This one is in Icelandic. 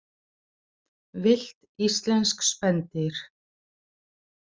Villt íslensk spendýr.